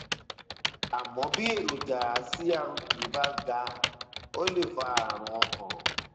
àmọ bí èròjà crp bá ga ó lè fa ààrùn ọkàn